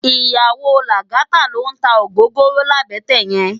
Iyàwó Lagata ló n tá ógógóró làbètè yèn